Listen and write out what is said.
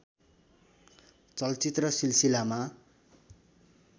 चलचित्र सिलसिलामा